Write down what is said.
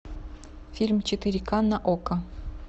фильм четыре ка на окко